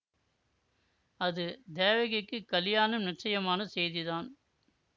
அது தேவகிக்குக் கலியாணம் நிச்சயமான செய்திதான்